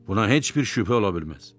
Buna heç bir şübhə ola bilməz.